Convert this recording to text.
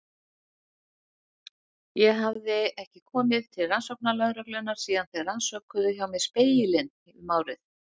Ég hafði ekki komið til rannsóknarlögreglunnar síðan þeir rannsökuðu hjá mér Spegilinn um árið.